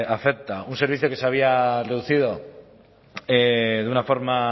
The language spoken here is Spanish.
afecta un servicio que se había reducido de una forma